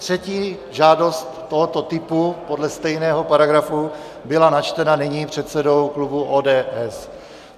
Třetí žádost tohoto typu podle stejného paragrafu byla načtena nyní předsedou klubu ODS.